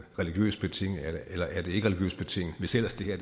religiøst betinget eller ikke er religiøst betinget hvis ellers det her